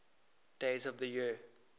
days of the year